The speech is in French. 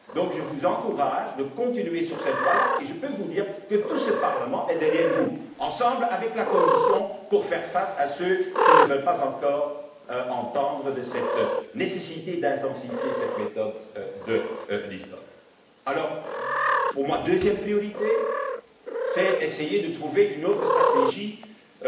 Je vous encourage donc à continuer sur cette voie là, et je peux vous dire que tout ce Parlement est derrière vous, avec la Commission, pour faire face à ceux qui ne veulent encore rien entendre de cette nécessité d'intensifier cette méthode de Lisbonne. Alors, quant à ma deuxième priorité, elle consiste à essayer de trouver une autre stratégie